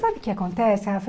Sabe o que acontece, Rafa?